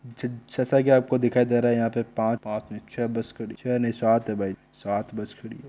जैसा की आप को दिखाय दे रहा है पास पास में छ बस नही सात बस हैं भाई सात बस खड़ी है।